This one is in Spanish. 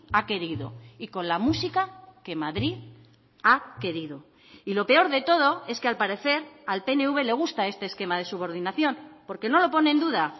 ha querido y con la música que madrid ha querido y lo peor de todo es que al parecer al pnv le gusta este esquema de subordinación porque no lo pone en duda